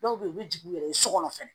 Dɔw bɛ yen u bɛ jigin u yɛrɛ ye so kɔnɔ fɛnɛ